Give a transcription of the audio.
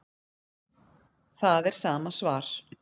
Það er sama svar